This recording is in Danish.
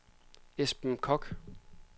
Esben Koch